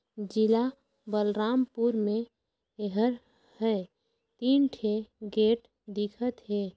जिला बलरामपुर मे एहर हे तीन ठी गेट दिखत हे।